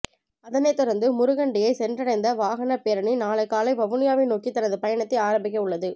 அதனைத் தொடர்ந்து முருகண்டியை சென்றடைந்த வாகனப் பேரணி நாளை காலை வவுனியாவை நோக்கி தனது பயணத்தை ஆரம்பிக்க உள்ளது